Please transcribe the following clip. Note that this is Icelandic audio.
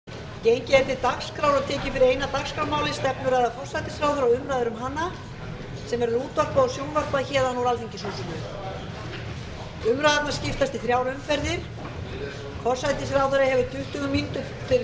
tekið er fyrir eina dagskrármálið stefnuræða forsætisráðherra og umræður um hana sem verður útvarpað og sjónvarpað úr alþingishúsinu umræðurnar skiptast í þrjár umferðir forsætisráðherra hefur tuttugu mínútur til